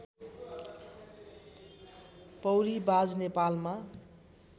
पौरी बाज नेपालमा